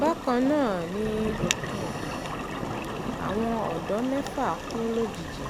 bákan náà ni um àwọn ọ̀dọ́ mẹ́fà kú lójijì